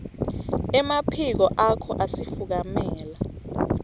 emaphiko akho asifukamela